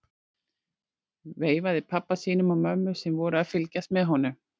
Veifaði pabba sínum og mömmu sem voru að fylgjast með honum.